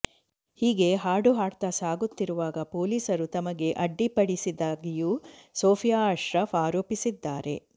ಹೀಗೆ ಹಾಡು ಹಾಡ್ತಾ ಸಾಗುತ್ತಿರುವಾಗ ಪೊಲೀಸರು ತಮಗೆ ಅಡ್ಡಿಪಡಿಸಿದ್ದಾಗಿಯೂ ಸೋಫಿಯಾ ಅಶ್ರಫ್ ಆರೋಪಿಸಿದ್ದಾರೆ